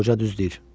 Qoca düz deyir.